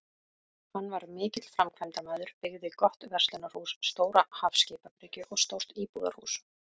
Hann var mikill framkvæmdamaður, byggði gott verslunarhús, stóra hafskipabryggju og stórt íbúðarhús.